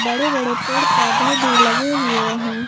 बड़े बड़े पेड़ पौधे भी लगे हुए हैं।